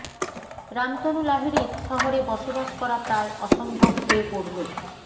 রামতনু লাহিড়ীর শহরে বসবাস করা প্রায় অসম্ভব হয়ে পড়ল